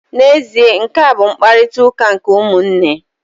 N'ezie, nkea bụ mkparịtaụka nke ụmụnne.